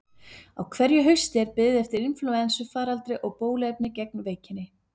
Á hverju hausti er beðið eftir inflúensufaraldri og bóluefni gegn veikinni.